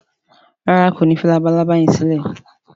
ràrá kò ní fí Labalábá yén silẹ?